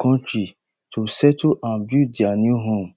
kontri to settle and build dia new home